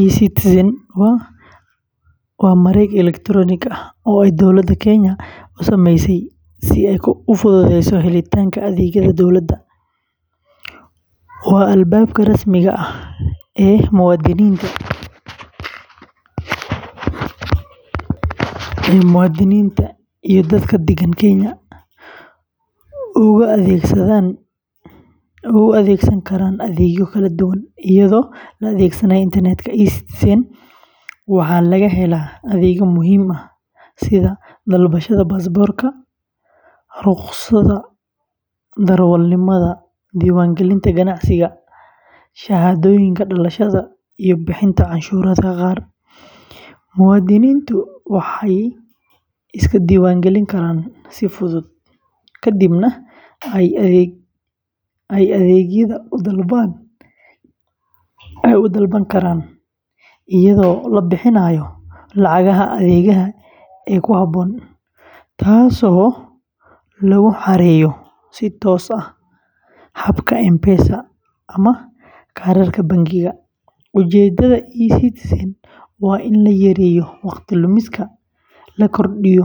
e-Citizen waa mareeg elektaroonik ah oo ay dowladda Kenya u sameysay si ay u fududeyso helitaanka adeegyada dowladda. Waa albaabka rasmiga ah ee muwaadiniinta iyo dadka deggen Kenya uga adeegsan karaan adeegyo kala duwan iyadoo la adeegsanayo internetka. e-Citizen waxaa laga helaa adeegyo muhiim ah sida dalbashada baasaboorka, rukhsadda darawalnimada, diiwaangelinta ganacsiga, shahaadooyinka dhalashada, iyo bixinta canshuuraha qaar. Muwaadiniintu waxay iska diiwaangelin karaan si fudud, ka dibna ay adeegyada u dalban karaan iyadoo la bixinayo lacagaha adeegga ee ku habboon, taasoo lagu xareeyo si toos ah habka M-Pesa ama kaarka bangiga. Ujeeddada e-Citizen waa in la yareeyo waqti lumiska, la kordhiyo